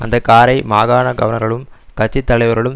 அந்த காரை மாகாண கவர்னர்களும் கட்சித்தலைவர்களும்